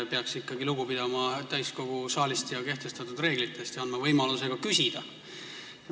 Peaks ikkagi lugu pidama täiskogu saalist ja kehtestatud reeglitest ning andma võimaluse ka küsida.